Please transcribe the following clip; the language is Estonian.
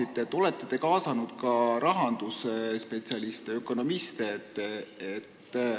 Kas te olete kaasanud ka rahandusspetsialiste, ökonomiste?